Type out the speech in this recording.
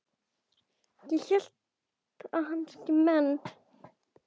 Ég hélt að hans menn.